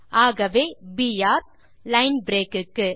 ஆகவே line break க்கு